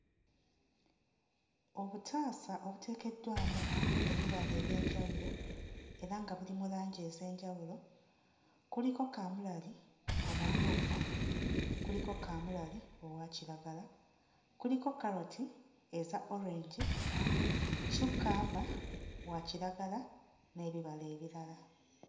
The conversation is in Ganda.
Obutaasa obuteekeddwamu ebibala eby'enjawulo era nga biri mu langi ez'enjawulo kuliko kaamulali omumyufu, kuliko kaamulali owa kiragala, kuliko kkaloti eza orange, cucumber wa kiragala n'ebirala ebirala.